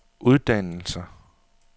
uddannelser